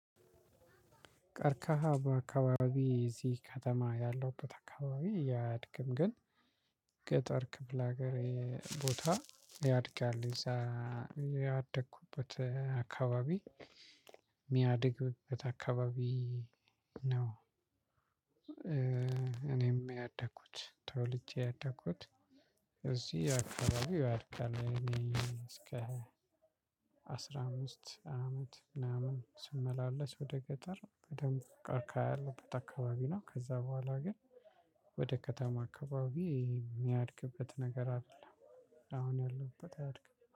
ቀርካሃ በአከባቢ እዚህ ከተማ ያለውበት አካባቢ አያድግም ግን ገጠር ክፍል ሀገሬ ቦታ ያድጋል ያደኩበት አካባቢ የሚያድግበት አካባቢ ነው። እኔም ያደኩት ተወልጄ ያደኩት እዚህ አካባቢው ያድጋል። እስከ አስራ አምስት አመት ምናምን ስመላለስ ወደ ገጠር በደንብ ቀርቃ ያለበት አካባቢ ነው። ከዛ በኋላ ግን ወደ ከተማ አከባቢ የሚያድግበት ነገር አደለም። አሁን ያለሁበት አያድግም